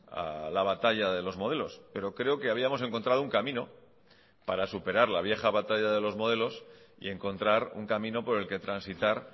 a la batalla de los modelos pero creo que habíamos encontrado un camino para superar la vieja batalla de los modelos y encontrar un camino por el que transitar